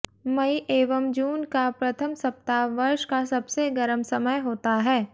मई एवं जून का प्रथम सप्ताह वर्ष का सबसे गर्म समय होता है